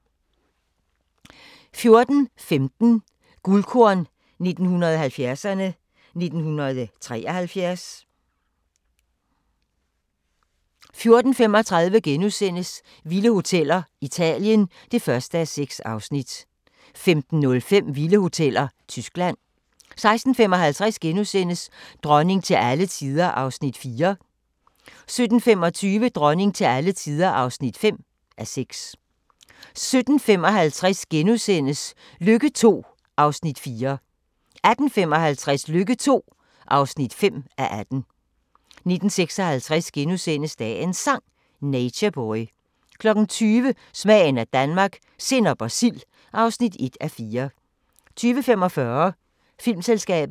14:15: Guldkorn 1970'erne: 1973 14:35: Vilde hoteller: Italien (1:6)* 15:05: Vilde hoteller: Tyskland 16:55: Dronning til alle tider (4:6)* 17:25: Dronning til alle tider (5:6) 17:55: Lykke II (4:18)* 18:55: Lykke II (5:18) 19:56: Dagens Sang: Nature Boy * 20:00: Smagen af Danmark – sennep og sild (1:4) 20:45: Filmselskabet